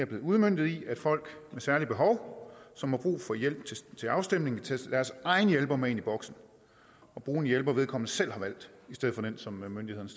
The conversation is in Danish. blevet udmøntet i at folk med særlige behov som har brug for hjælp til afstemning kan tage deres egne hjælper med ind i boksen og bruge en hjælper vedkommende selv har valgt i stedet for den som myndighederne